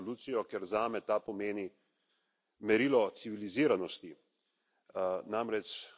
Glasoval sem za resolucijo, ker zame ta pomeni merilo civiliziranosti.